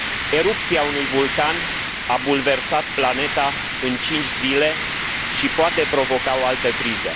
Erupția unui vulcan a bulversat planeta în cinci zile și poate provoca o altă criză.